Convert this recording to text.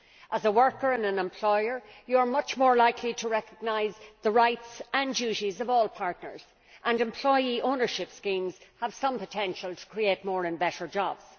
As a worker and an employer, you are much more likely to recognise the rights and duties of all partners, and employee ownership schemes have some potential to create more and better jobs.